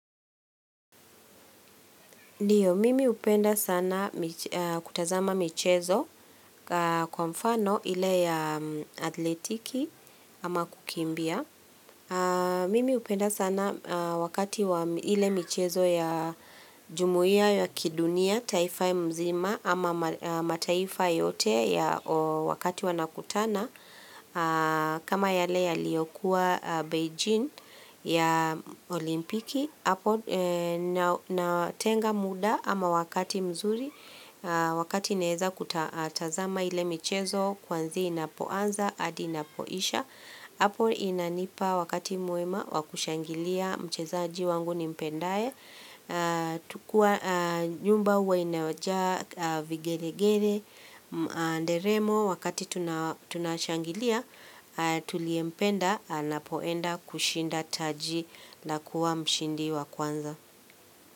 Ndiyo, mimi hupenda sana kutazama michezo kwa mfano ile ya athletiki ama kukimbia. Mimi hupenda sana wakati ile michezo ya jumuia ya kidunia, taifa mzima ama mataifa yote ya, wakati wanakutana. Kama yale yaliyokuwa Beijing ya olimpiki hapo, natenga muda ama wakati mzuri Wakati naeza kutazama ile michezo kuanzia inapoanza hadi inapoisha Hapo inanipa wakati mwema wa kushangilia mchezaji wangu nimpendaye, tukua, nyumba huwa inajaa vigelegele na nderemo wakati tunashangilia tuliyempenda anapoenda kushinda taji la kuwa mshindi wa kwanza.